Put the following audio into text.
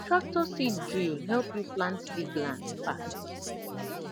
tractor seed drill help you plant big land fast